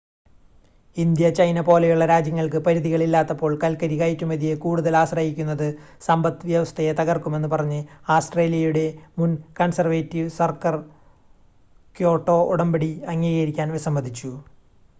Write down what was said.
India China പോലെയുള്ള രാജ്യങ്ങൾക്ക് പരിധികൾ ഇല്ലാത്തപ്പോൾ കൽക്കരി കയറ്റുമതിയെ കൂടുതൽ ആശ്രയിക്കുന്നത് സമ്പത്ത് വ്യവസ്ഥയെ തകർക്കുമെന്ന് പറഞ്ഞ് ആസ്‌ട്രേലിയയുടെ മുൻ കൺസേർവേറ്റിവ് സർക്കർ ക്യോട്ടോ ഉടമ്പടി അംഗീകരിക്കാൻ വിസമ്മതിച്ചു